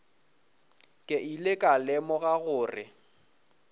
ke ile ka lemoga gore